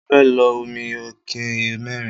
Mo fẹ́ lo omi ike mẹ́rin.